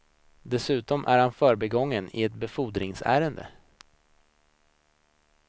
Dessutom är han förbigången i ett befordringsärende.